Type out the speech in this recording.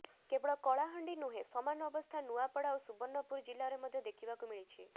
କେବଳ କଳାହାଣ୍ଡି ନୁହେଁ ସମାନ ଅବସ୍ଥା ନୂଆପଡା ଓ ସୁବର୍ଣ୍ଣପୁର ଜିଲ୍ଲାରେ ମଧ୍ୟ ଦେଖିବାକୁ ମିଳିଛି